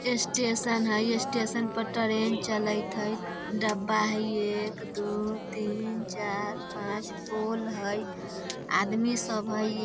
स्टेशन हई स्टेशन पर टरेन चलत हई डब्बा हई एक दू तीन चार पांच पोल हई आदमी सब हई।